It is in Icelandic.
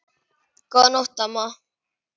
Góða nótt, amma.